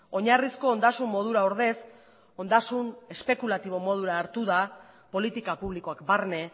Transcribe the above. oinarrizko ondasun modura ordez ondasun espekulatibo modura hartu da politika publikoak barne